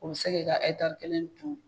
O bɛ se k'i ka ekitari kelen dun.